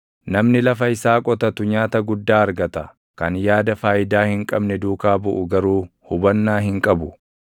Namni lafa isaa qotatu nyaata guddaa argata; kan yaada faayidaa hin qabne duukaa buʼu garuu hubannaa hin qabu.